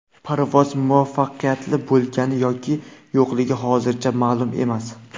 Parvoz muvaffaqiyatli bo‘lgani yoki yo‘qligi hozircha ma’lum emas.